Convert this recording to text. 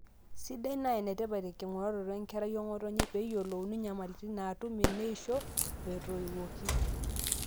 sidai naa enetipat enking'uraroto enkerai ong'otonye peyie eyiolouni nyamalitin naatum eneisho o etoiwuoki